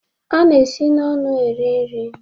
A na-esi n'ọnụ eri nri